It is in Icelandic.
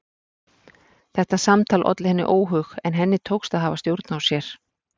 Þetta samtal olli henni óhug en henni tókst að hafa stjórn á sér.